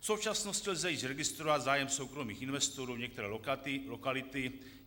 "V současnosti lze již registrovat zájem soukromých investorů o některé lokality.